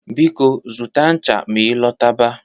Biko, zụta ṅcha ma ị lọta ba